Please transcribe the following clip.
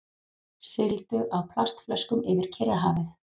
Sigldu á plastflöskum yfir Kyrrahafið